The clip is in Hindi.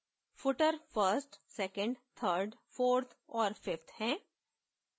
footer first second third fourth और fifth हैं